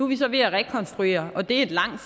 vi så ved at rekonstruere og det er et langt